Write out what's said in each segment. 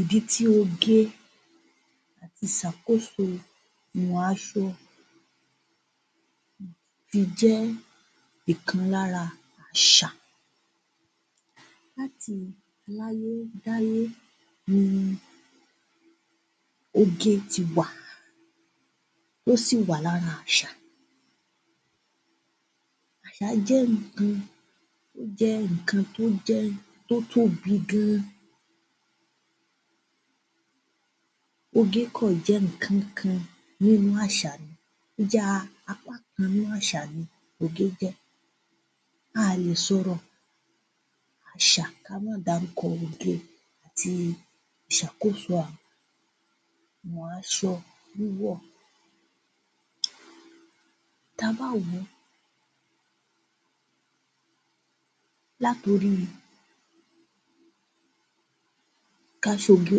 Ìdí tí oge àti ìsàkóso ìmọ̀ aṣọ fi jẹ́ ìkan lára àṣà. Láti aláyé dáyé ni oge ti wà tó sì wà lára àṣà. Àṣà jẹ́ nǹkan, ó jẹ́ nǹkan tó jẹ́ tó tóbi gan-an. Oge kàn jẹ́ nǹkan kan nínú àṣà ni, ó ya apá kan nínú àṣà ni oge jẹ́. A lè sọ̀rọ̀ àṣà ká má dárúkọ oge àti ìṣàkóso àwọn aṣọ wíwọ̀. Ta bá wòó, látorí ká ṣoge,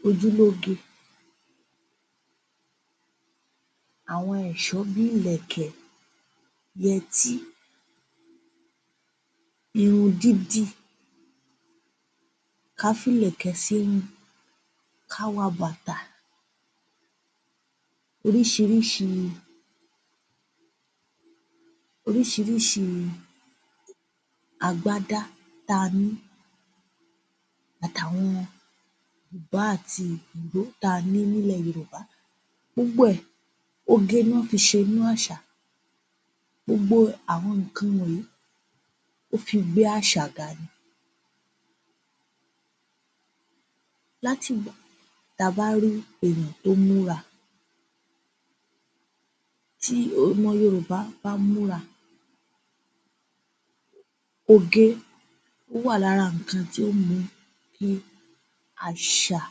ká ṣojú lóge, àwọn ẹ̀ṣọ́ bí ìlẹ̀kẹ̀, yẹtí, irun dídì, ká fílẹ̀kẹ̀ sírun, ká wa bàtà, oríṣiríṣi oríṣiríṣi agbádá táa ní, àtàwọn bùbá àti ìró táa ni nílẹ̀ Yorùbá. Gbogbo ẹ̀, oge niwọ́n fi ṣe nínú àṣà. Gbogbo àwọn nǹkan wọnyìí ó fi gbé àṣà ga ni. Látìgbà, ta bá rí èèyàn tó múra tí ọmọ Yorùbá bá múra oge ó wà lára nǹkan tí ó mú kí àṣà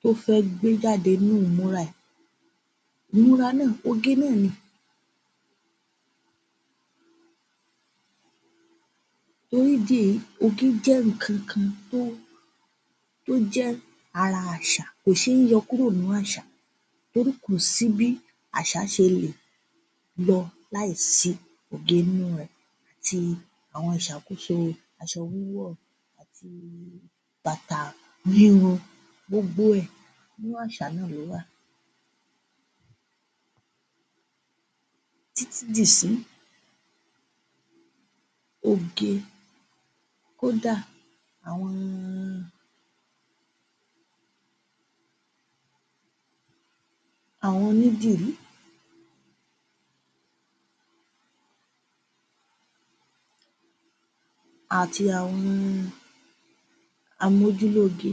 tó fẹ́ gbé jáde ní ìmúra ẹ̀. Ìmúra náà, oge náà ni oge jẹ́ nǹkan kan tó jẹ́ ara àṣà. Kò ṣe yọ kúrò nínú àṣà torí kò sí bí àṣà ṣe lè yọ láì sí oge nínú rẹ̀ àti àwọn ìṣàkóso aṣọ-wíwọ̀ àti bàtà híhun gbogbo ẹ̀ nínú àṣà náà ló wà títí dìsínyìí. Oge kódà àwọn àwọn onídìrí àti àwọn ojúlóoge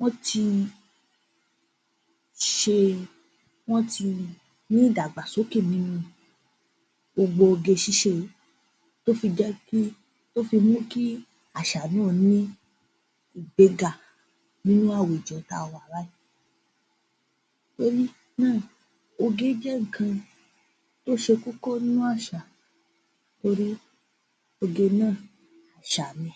wọ́n ti ṣe wọ́n ti ní ìdàgbàsókè nínu gbogbo oge-ṣíṣe yìí tó fi jẹ́ kí tó fi mú kí àṣà náà ní ìgbega nínú àwùjọ táa wà báyìí. Torí náà oge jẹ́ nǹkan tó ṣe kókó nínú àṣà torí oge náà àṣà ni.